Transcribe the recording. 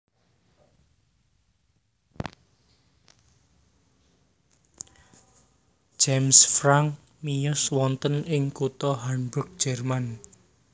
James Franck miyos wonten ing kutha Hamburg Jerman